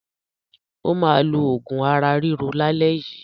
Ó máa lo òògùn ara-ríro lálẹ́ yìí.